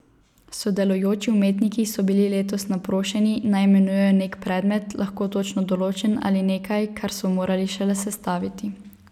Sodelujoči umetniki so bili letos naprošeni, naj imenujejo nek predmet, lahko točno določen ali nekaj, kar so morali šele sestaviti.